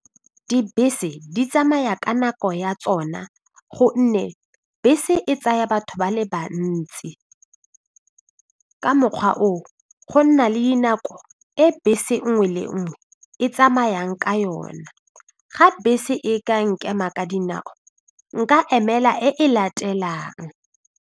Dibese di tsamaya ka nako ya tsona gonne bese e tsaya batho ba le bantsi ka mokgwa oo go nna le dinako e bese nngwe le nngwe e tsamayang ka yona, ga bese e ka nkema ka dinao nka emela e e latelang.